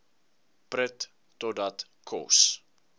prut totdat kos